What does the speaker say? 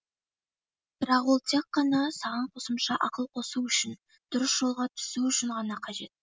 бірақ ол тек қана саған қосымша ақыл қосу үшін дұрыс жолға түсу үшін ғана қажет